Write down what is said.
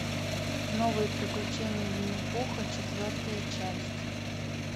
новые приключения винни пуха четвертая часть